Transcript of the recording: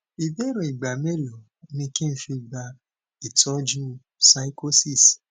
ìbéèrè igba melo ni ki n fi gba itoju pyschosis